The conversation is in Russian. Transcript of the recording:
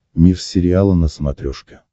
мир сериала на смотрешке